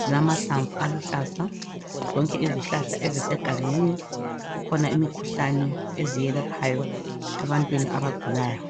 zilamahlamvu aluhlaza. Zonke izihlahla ezisegangeni kukhona imikhuhlane eziyelaphayo ebantwini abagulayo.